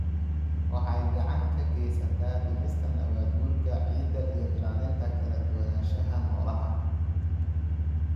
waxay gacan ka geysataa dhimista nabaad-guurka ciidda iyo ilaalinta kala duwanaanshaha noolaha.